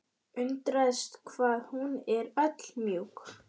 Undraðist hvað hún var öll mjúk.